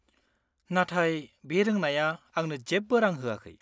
नाथाय बे रोंनाया आंनो जेबो रां होआखै।